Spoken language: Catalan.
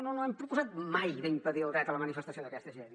no hem proposat mai d’impedir el dret a la manifestació d’aquesta gent